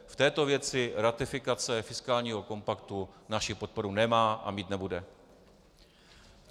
V této věci ratifikace fiskálního kompaktu naši podporu nemá a mít nebude.